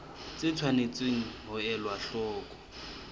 tse tshwanetseng ho elwa hloko